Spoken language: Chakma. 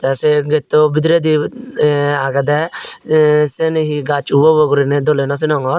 tey sey getto bidiredi eh agedey eh siyeni hee gaj ubo ubo gurine dole no sinongor.